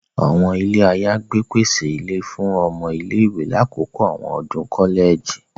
Àwọn ilé ayagbe pèsè ìlé fún ọmọ ilé-ìwé lakoko awọn ọdun kọlẹji.